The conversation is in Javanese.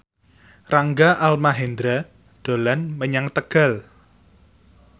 Rangga Almahendra dolan menyang Tegal